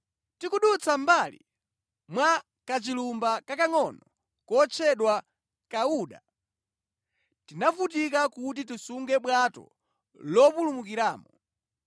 Tikudutsa mʼmbali mwa kachilumba kakangʼono kotchedwa Kawuda, tinavutika kuti tisunge bwato lopulumukiramo.